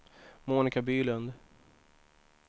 Monica Bylund